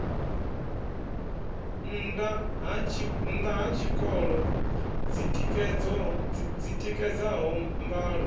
nnda ha tshikolo dzitikedzaho mbalo